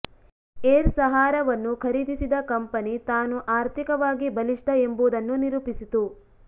air ಸಹಾರಾವನ್ನು ಖರೀದಿಸಿದ company ತಾನು ಆರ್ಥಿಕವಾಗಿ ಬಲಿಷ್ಠ ಎಂಬುದನ್ನು ನಿರೂಪಿಸಿತು